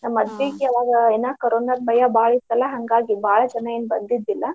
ನಮ್ ಮದ್ವಿಗೆ ಆವಾಗ ಏನ ಕರೋನಾ ಭಯ ಬಾಳ ಇತ್ತಲ್ಲಾ. ಹಾಂಗಾಗಿ ಬಾಳ ಜನಾ ಏನ್ ಬಂದಿದ್ದಿಲ್ಲಾ.